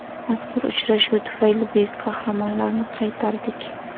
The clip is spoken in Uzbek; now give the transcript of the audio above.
Mazkur uchrashuv tufayli buyuk qahramonlarni qaytardik.